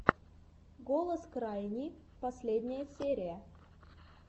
голос крайни последняя серия